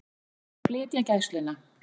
Vilja flytja Gæsluna